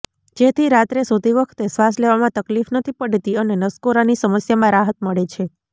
જેથી રાત્રે સૂતી વખતે શ્વાસ લેવામાં તકલીફ નથી પડતી અને નસકોરાંની સમસ્યામાં રાહત મળે છે